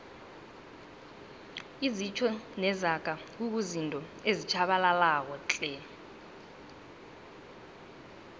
izitjho nezaga kuzizinto ezitjhabalalako tle